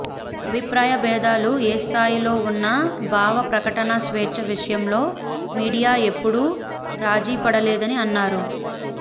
అభిప్రాయ భేదాలు ఏ స్థాయిలో ఉన్నా భావ ప్రకటనా స్వేచ్ఛ విషయంలో మీడియా ఎప్పుడూ రాజీపడలేదని అన్నారు